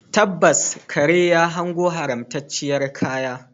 Tabbas, kare ya hango haramtacciyar kaya